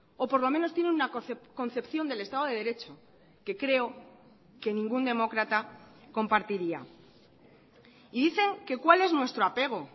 o por lo menos tienen una concepción del estado de derecho que creo que ningún demócrata compartiría y dicen que cuál es nuestro apego